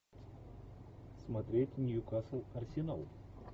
смотреть ньюкасл арсенал